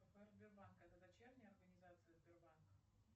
это дочерняя организация сербанка